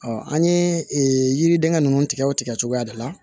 an ye yiriden ninnu tigɛ o tigɛ cogoya de la